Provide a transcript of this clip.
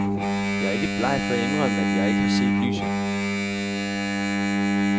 Jeg er ikke bleg for at indrømme, at jeg ikke har set lyset.